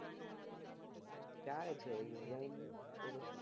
ચાલે છે એવું એમ તો પછી